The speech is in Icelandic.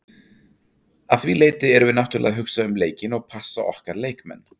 Að því leyti erum við náttúrulega að hugsa um leikinn og passa okkar leikmenn.